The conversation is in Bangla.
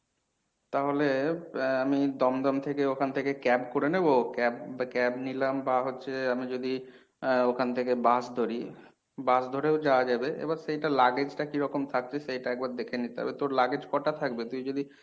তাহলে এর আমি দমদম থেকে ওখান থেকে cab করে নেবো cab বা cab নিলাম বা হচ্ছে আমি যদি আহ ওখান থেকে bus ধরি bus ধরেও যাওয়া যাবে। এবার সেইটা luggage টা কিরকম থাকছে সেইটা একবার দেখে নিতে হবে। তোর luggage কটা থাকবে তুই যদি